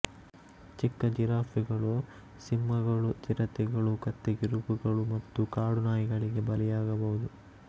ಚಿಕ್ಕ ಜಿರಾಫೆಗಳು ಸಿಂಹಗಳು ಚಿರತೆಗಳು ಕತ್ತೆಕಿರುಬಗಳು ಮತ್ತು ಕಾಡು ನಾಯಿಗಳಿಗೆ ಬಲಿಯಾಗಬಹುದು